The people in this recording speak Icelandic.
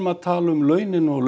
að tala um launin og